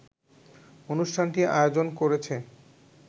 অনুষ্ঠানটি আয়োজন করেছে